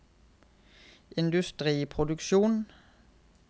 industriproduksjon